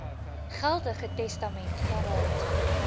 geldige testament gehad